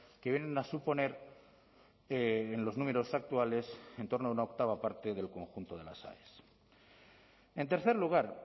que vienen a suponer en los números actuales en torno a una octava parte del conjunto de las aes en tercer lugar